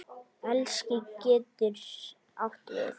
Elis getur átt við